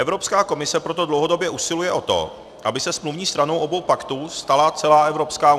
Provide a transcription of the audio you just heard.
Evropská komise proto dlouhodobě usiluje o to, aby se smluvní stranou obou paktů stala celá EU.